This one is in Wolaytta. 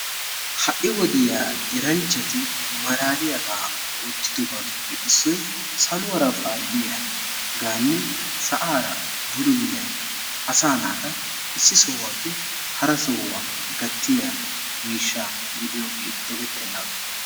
Ha'i wodiyaa eranchchati malaaliyaaba oottidobatuppe issoy saluwaara paaliyaaganne sa'aara bululliyaa asa naata issi sohuwappe hara sohuwa gattiya miishsha gidiyooge dogeteenaaga.